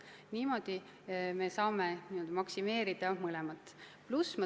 Niimoodi me saame maksimeerida mõlemat.